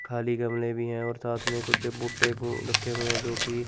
खाली गमले भी है और साथ में कुछ भुट्टे अं रखे हुए हैं जोकि--